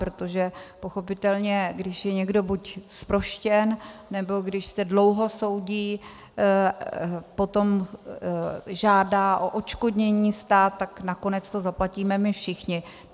Protože pochopitelně když je někdo buď zproštěn, nebo když se dlouho soudí, potom žádá o odškodnění stát, tak nakonec to zaplatíme my všichni.